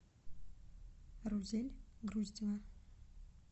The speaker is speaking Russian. рузель груздева